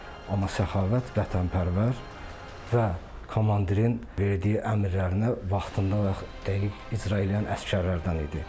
Amma Səxavət vətənpərvər və komandirin verdiyi əmrlərinə vaxtında və dəqiq icra eləyən əsgərlərdən idi.